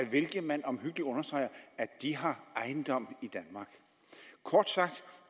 hvilke man omhyggeligt understreger at de har ejendom i danmark kort sagt